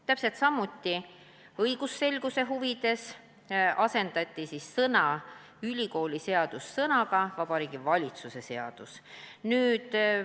Täpselt samal põhjusel, õigusselguse huvides, asendati sõna "ülikooliseadus" sõnadega "Vabariigi Valitsuse seadus".